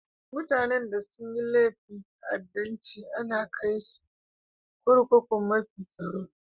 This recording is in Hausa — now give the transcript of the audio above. Mutane da sun yi laifin ta'addancci ana kai su kurkukun mafi tsaro.